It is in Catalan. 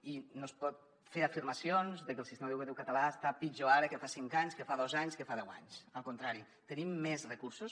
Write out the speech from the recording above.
i no es poden fer afirmacions de que el sistema educatiu català està pitjor ara que fa cinc anys que fa dos anys que fa deu anys al contrari tenim més recursos